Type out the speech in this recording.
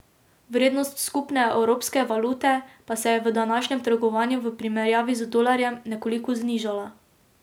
Vrednost skupne evropske valute pa se je v današnjem trgovanju v primerjavi z dolarjem nekoliko znižala.